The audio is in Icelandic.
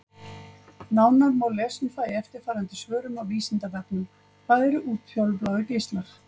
Nánar má lesa um það í eftirfarandi svörum á Vísindavefnum: Hvað eru útfjólubláir geislar?